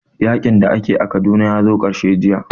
Yaƙin da ake a Kaduna ya zo ƙarshe jiya